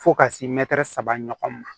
Fo ka se mɛtiri saba ɲɔgɔn ma